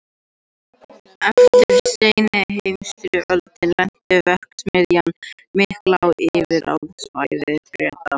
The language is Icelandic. Eftir seinni heimsstyrjöld lenti verksmiðjan mikla á yfirráðasvæði Breta.